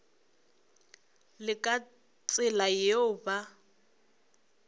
le ka tsela yeo ba